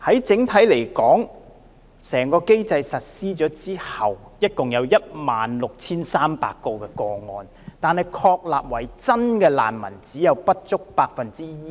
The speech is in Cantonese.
整體而言，在整個機制實施後，共有16300宗個案，但獲確立為真正難民的個案，只有不足 1%。